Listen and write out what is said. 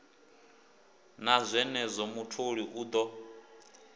na zwenezwo mutholi u ḓo